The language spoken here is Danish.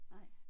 Nej